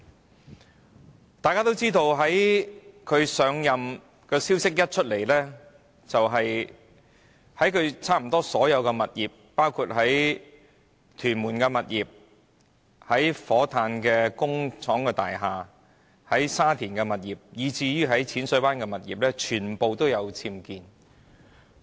一如大家所知，律政司司長將要上任的消息甫傳出，她便被揭發差不多所有物業，包括在屯門的物業、火炭的工廠大廈、沙田的物業，以至淺水灣的物業，全部均有僭建物。